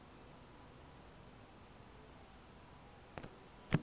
di na le medu e